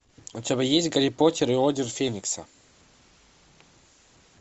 у тебя есть гарри поттер и орден феникса